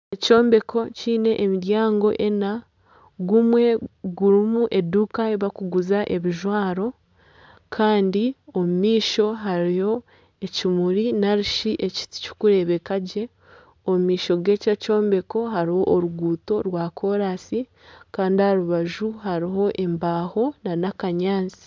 Ekyombeko kiine emiryango ena gumwe gurimu eduuka ahu barikuguza ebijwaro Kandi omumaisho hariyo ekimuri narishi ekiti kirikureebekagye omumaisho gekyombeko hariho oruguuto rwa kolansi Kandi aharubaju hariho embaaho nana akanyatsi.